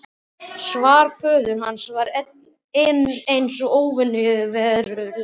Svar föður hans var enn eins og óraunverulegt.